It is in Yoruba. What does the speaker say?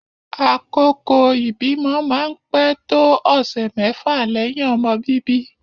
Àkókò ibimọ máa pè tóò ọsẹ mẹfa lẹhin ọmọ bíbí